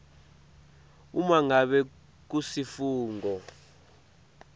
uma ngabe kusifungo